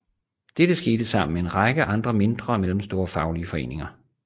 Dette skete sammen med en række andre mindre og mellemstore faglige foreninger